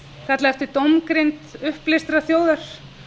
kalla eftir dómgreind upplýstrar þjóðar